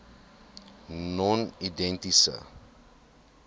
nonedienste